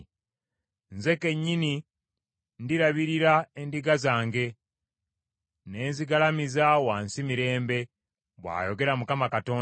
Nze kennyini ndirabirira endiga zange, ne nzigalamiza wansi mirembe, bw’ayogera Mukama Katonda.